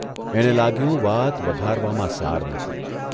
એને લાગ્યું વાત વધારવામાં સાર નથી.